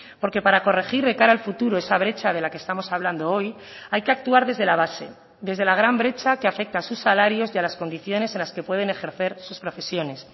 porque para corregir de cara al futuro esa brecha de la que estamos hablando hoy hay que actuar desde la base desde la gran brecha que afecta a sus salarios y a las condiciones en las que pueden ejercer sus profesiones